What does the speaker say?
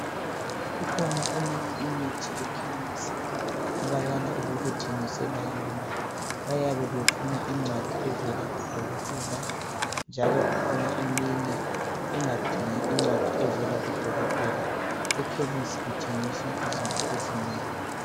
Kukhona eminye imithi ekhemisi abayala ukukuthengisela yona. Bayabe befuna incwadi evela kudokotela. Njalo kukhona eminye engadingi incwadi evela kudokotela. Ekhemisi kuthengiswa izinto ezinengi.